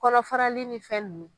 Kɔnɔ farali ni fɛn nunnu.